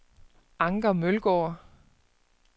Anker Mølgaard